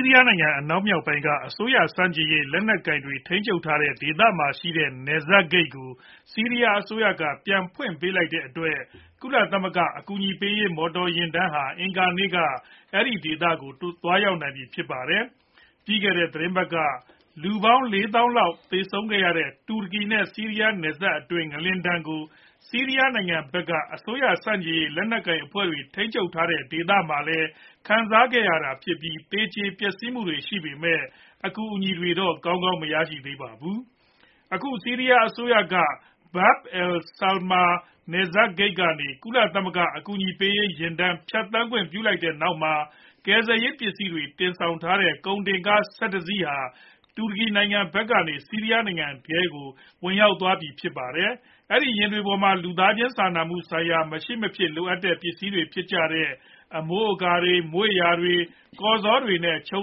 းရီးယားနိုင်ငံအနောက်မြောက်ပိုင်းက အစိုးရဆန့်ကျင်ရေးလက်နက်ကိုင်တွေ ထိန်းချုပ်ထားတဲ့ဒေသမှာရှိတဲ့ နယ်စပ်ဂိတ်ကို ဆီးရီးယားအစိုးရက ပြန်ဖွင့်ပေးလိုက်တဲ့အတွက် ကုလသမဂ္ဂအကူအညီပေးရေး မော်တော်ယာဉ်တန်းဟာ အင်္ဂါနေ့မှာ အဲဒီဒေသကိုသွားရောက်နိုင်ပြီဖြစ်ပါတယ်။ ပြီးခဲ့တဲ့ သီတင်းပတ်က လူပေါင်း ၄ သောင်းလောက် သေဆုံးခဲ့ရတဲ့တူရကီနဲ့ ဆီးရီးယားနယ်စပ်ဒေသတွင်း ငလျင်ဒဏ်ကို ဆီးရီးယားနိုင်ငံဘက်က အစိုးရဆန့်ကျင်ရေး လက်နက်ကိုင်အဖွဲ့ထိန်းချုပ်ထားတဲ့ဒေသမှာလည်း ခံစားခဲ့ရတာ ဖြစ်ပြီး သေကြေပျက်စီးမှုတွေရှိပေမယ့် အကူအညီတွေကောင်းကောင်းမရဘဲ ဖြစ်နေတာပါ။ အခု ဆီးရီးယားအစိုးရက Bab al-Salama နယ်စပ်ဂိတ်ကနေ ကုလသမဂ္ဂရဲ့အကူအညီပေးရေး ယာဉ်တန်းဖြတ်သန်းခွင့်ပြုလိုက်ပြီးတဲ့နောက်မှာ ကယ်ဆယ်ရေးပစ္စည်းတွေ တင်ဆောင်ထားတဲ့ကုန်ကား ၁၁ စီးဟာ တူရကီနိုင်ငံဘက်ကနေ ဆီးရီးယားနိုင်ငံထဲကို ဝင်ရောက်နိုင်ပြီဖြစ်ပါတယ်။ ဒီယာဉ်တွေပေါ်မှာ လူသားစာနာမှုဆိုင်ရာ မရှိမဖြစ်လိုအပ်တဲ့ အမိုးအကာတွေ ၊ မွေ့ယာတွေ၊ ကော်ဇော်တွေနဲ့ ခြုံ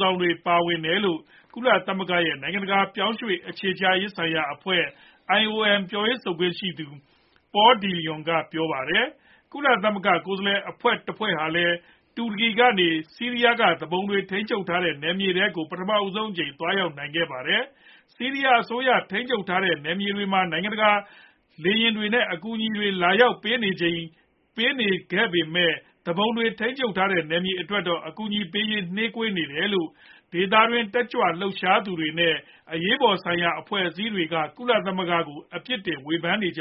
စောင်တွေပါ ပါဝင်တယ်လို့ ကုလသမဂ္ဂ ရဲ့နိုင်ငံတကာ ပြောင်းရွေ့အခြေချရေးဆိုင်ရာအဖွဲ့ IOM ပြောရေးဆိုခွင့်ရှိသူ Paul Dillon က ပြောပါတယ်။ ကုလသမဂ္ဂ ကိုယ်စားလှယ်အဖွဲ့တဖွဲ့ဟာလည်း တူရကီကနေ ဆီးရီးယားက သူပုန်တွေထိန်းချုပ်ထားတဲ့ နယ်မြေထဲကို ပထမဆုံးအကြိမ် သွားရောက်နိုင်ခဲ့ပါတယ်။ ဆီးရီးယားအစိုးရထိန်းချုပ်ထားတဲ့နယ်မြေတွေမှာ နိုင်ငံတကာက လေယာဉ်တွေနဲ့ အကူအညီတွေလာရောက်ပေးနိုင်ကြပေမယ့် သူပုန်တွေထိန်းချုပ်ထားတဲ့ နယ်မြေတွေအတွက်တော့ အကူအညီပေးရေးမှာ နှေးကွေးနေတယ်လို့ ဒေသတွင်းရှိတက်ကြွလှုပ်ရှားသူတွေနဲ့ အရေးပေါ်ဆိုင်ရာအဖွဲ့အစည်းတွေက ကုလသမဂ္ဂကို အပြစ်တင်ဝေဖန်နေကြ